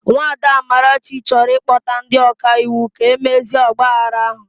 Nwada Amarachi chọrọ ịkpọta ndi ọka iwu ka mezie ọgbaaghara ahụ